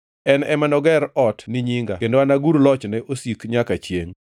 En ema noger ot ni nyinga kendo anagur lochne osik nyaka chiengʼ.